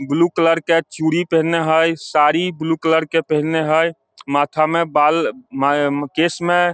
इ चूड़ी blue colour के पिन्हने हेय साड़ी ब्लू कलर के पिन्हने हेय माथा मे बाल केश मे --